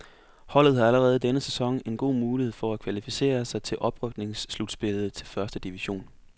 Holdet har allerede i denne sæson en god mulighed for at kvalificere sig til oprykningsslutspillet til første division.